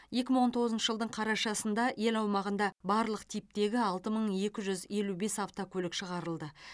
екі мың он тоғызыншы жылдың қарашасында ел аумағында барлық типтегі алты мың екі жүз елу бес автокөлік шығарылды